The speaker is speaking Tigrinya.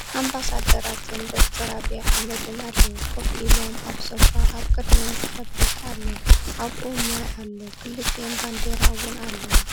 ኣምባሳደራትን ዶ/ር ኣብይ ኣሕምድን ኣልዉ ።ኮፍ ኢሎም ኣብ ሶፋ ኣብ ቅድሚኦም ጥረቤዛ ኣሎ ኣብኡ ማይ ኣሎ ክልቲኤን ባንዴራ እዉን ኣልዋ